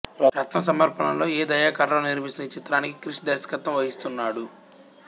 రత్నం సమర్పణలో ఎ దయాకర్ రావు నిర్మిస్తున్న ఈ చిత్రానికి క్రిష్ దర్శకత్వం వహిస్తున్నాడు